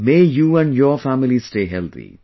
May you and your family stay healthy